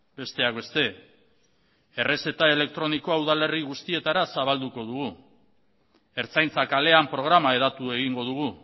besteak beste errezeta elektronikoa udalerri guztietara zabalduko dugu ertzaintza kalean programa hedatu egingo dugu